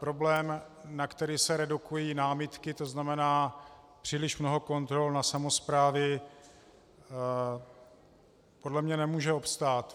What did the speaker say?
Problém, na který se redukují námitky, to znamená příliš mnoho kontrol na samosprávy, podle mě nemůže obstát.